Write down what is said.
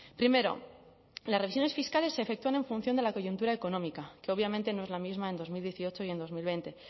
primero las revisiones fiscales se efectúan en función de la coyuntura económica que obviamente no es la misma en dos mil dieciocho y en dos mil veinte